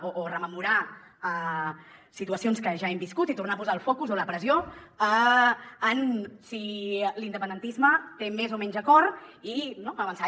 o rememorar situacions que ja hem viscut i tornar a posar el focus o la pressió en si l’independentisme té més o menys acord i avançar